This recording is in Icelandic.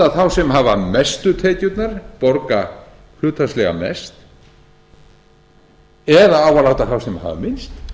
þá sem hafa mestu tekjurnar borga hlutfallslega mest eða á að láta þá sem hafa minnst